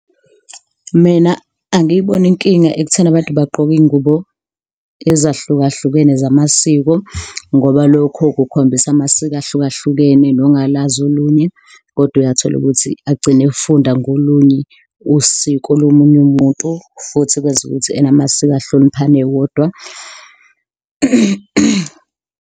Mina angiyiboni inkinga ekutheni abantu bagqoke iy'ngubo ezahlukahlukene zamasiko ngoba lokho kukhombisa amasiko ahlukahlukene, nongalazi olunye kodwa uyatholukuthi agcine efunda ngolunye usiko lomunye umuntu futhi kwenza ukuthi ena amasiko ahloniphane wodwa.